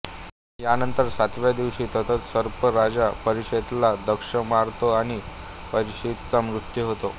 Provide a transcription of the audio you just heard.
यानंतर सातव्या दिवशी तक्षक सर्प राजा परीक्षितला दंश मारतो आणि परिक्षितचा मृत्यू होतो